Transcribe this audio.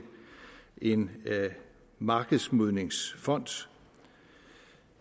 en markedsmodningsfond